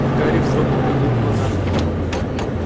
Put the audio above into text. гарри вздрогнул поднял глаза